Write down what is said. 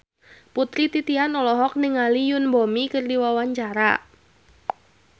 Putri Titian olohok ningali Yoon Bomi keur diwawancara